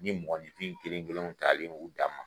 Ni mɔgɔnɔnifin kelen kelenw t'alen yen u d'a ma.